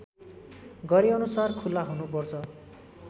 गरेअनुसार खुला हुनुपर्छ